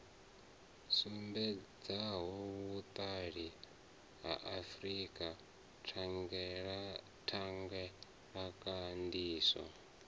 sumbedzaho vhuṱali ha frika thangelakhandiso